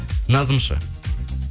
назым ше